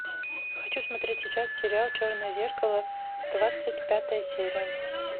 хочу смотреть сейчас сериал черное зеркало двадцать пятая серия